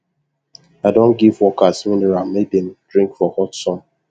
i don give workers mineral make them drink for hot sun